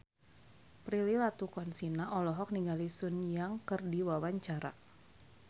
Prilly Latuconsina olohok ningali Sun Yang keur diwawancara